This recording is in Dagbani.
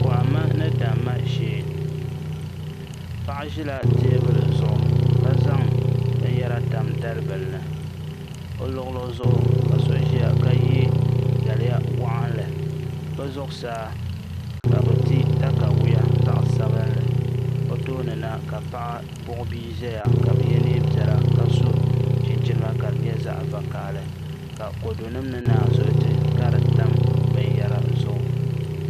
Kohamma ni damma shee paɣa ʒila teebuli zuɣu ka zaŋ binyɛra tam dalibili ni o luɣuli zuɣu ka so ʒiya ka yɛ daliya waɣanli bi zuɣusaa ka bi ti katawiya zaɣ sabinli o tooni na ka paɣa buɣi bia ʒɛya ka bi yɛ neen piɛla ka so chinchina ka di nyɛ zaɣ vakaɣali ka kodu nim ni naanzuhi ka di tam binyɛra zuɣu